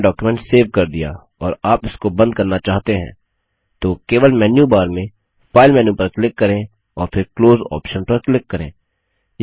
आपने आपना document save कर दिया और आप इसको बंद करना चाहते हैं तो केवल मेन्यू बार में फाइल मेन्यू पर क्लिक करें और फिर क्लोज ऑप्शन पर क्लिक करें